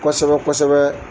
Kosɛbɛ kosɛbɛ.